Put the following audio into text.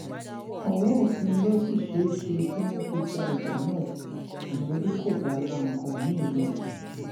ọwọ òfin ló sì ṣeé ṣe kí wọn fi ja ìjà náà ìyẹn bí kò bá la nǹkan mìín lọ